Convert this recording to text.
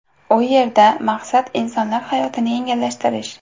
U yerda maqsad insonlar hayotini yengillashtirish.